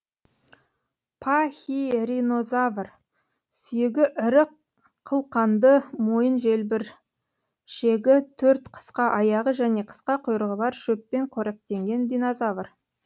пахиринозавр сүйегі ірі қылқанды мойын желбіршегі төрт қысқа аяғы және қысқа құйрығы бар шөппен қоректенген динозавр